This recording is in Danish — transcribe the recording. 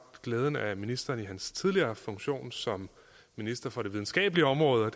glæden af at opleve ministeren i hans tidligere funktion som minister for det videnskabelige område